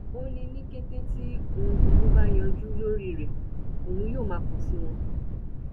ó ní ní kété tí ohun gbogbo bá yanjú lórí rẹ òun yóò má kàn sí wọn